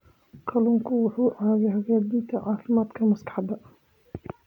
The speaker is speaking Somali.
Kalluunku wuxuu caawiyaa hagaajinta caafimaadka maskaxda.